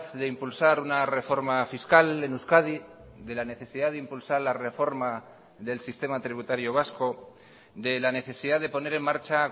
de impulsar una reforma fiscal en euskadi de la necesidad de impulsar la reforma del sistema tributario vasco de la necesidad de poner en marcha